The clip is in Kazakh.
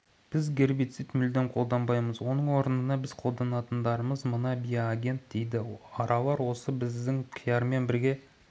біз гербицид мүлдем қолданбаймыз оның орнына біз қолданатындарымыз мына биоагент дейді аралар осы біздің қияр мен